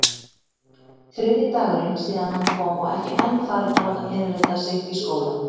Þriðji dagurinn síðan hann kom og ekki enn farinn að láta innrita sig í skólann.